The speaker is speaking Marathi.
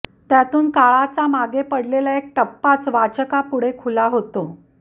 त्यातून काळाचा मागे पडलेला एक टप्पाच वाचकापुढे खुला होतो